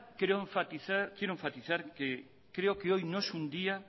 quiero enfatizar que creo que hoy no es un día